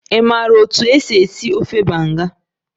Ị maara otú e si esi ofe banga?